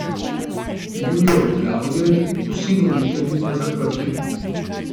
Bil je obglavljen, vsi voditelji pa zaprti.